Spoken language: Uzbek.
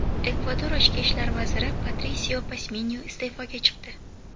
Ekvador ichki ishlar vaziri Patrisio Pasminyo iste’foga chiqdi.